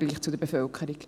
Die